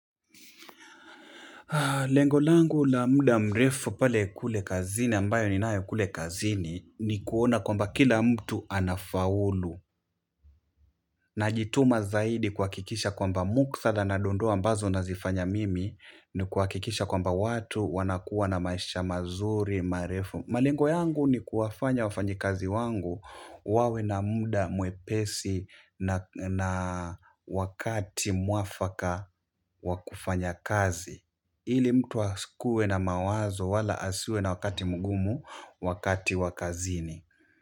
Lengo langu la muda mrefu pale kule kazini ambayo ni nae kule kazini, ni kuona kwamba, kila mtu anafaulu. Najituma zaidi kuhakikisha kwamba, muktadha na dondoo ambazo nazifanya mimi, ni kuhakikisha kwamba, watu wanakuwa na maisha mazuri marefu. Malengo yangu ni kuwafanya wafanyikazi wangu, wawe na muda mwepesi na wakati mwafaka wa kufanya kazi. Ili mtu asikuwe na mawazo, wala asiwe na wakati mgumu wakati wa kazini.